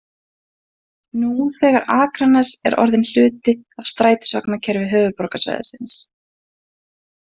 Nú þegar er Akranes orðinn hluti af strætisvagnakerfi höfuðborgarsvæðisins.